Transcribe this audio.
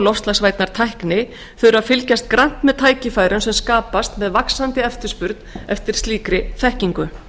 loftslagsvænnar tækni þurfa að fylgjast grannt með tækifærum sem skapast með vaxandi eftirspurn eftir slíkri þekkingu